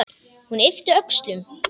Hún yppti öxlum.